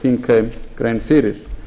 hér þingheimi grein fyrir